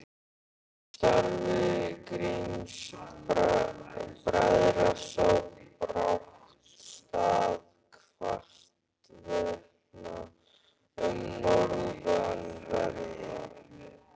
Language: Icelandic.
Starfi Grimms-bræðra sá brátt stað hvarvetna um norðanverða